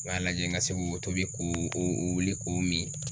U y'a lajɛ n ka se ko ko tobi k'o wuli k'o min.